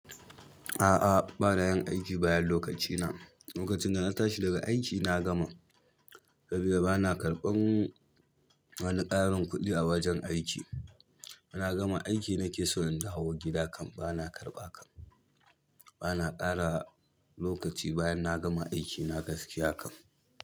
A'a, bana yin aiki bayan lokacina. Lokacin da na tashi daga aiki na gama, sabida bana karɓan wani ƙarin kuɗi a wajen aiki. Na gama aiki nake so in dawo gida kam bana karɓa kam. Bana ƙara lokaci bayan na gama aiki, na gaskiya kam.